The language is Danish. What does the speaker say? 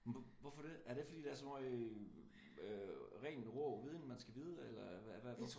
Hvorfor det? Er det fordi der er så meget øh ren rå viden man skal vide eller hvad hvorfor?